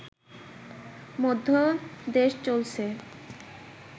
মধ্যে দেশ চলছে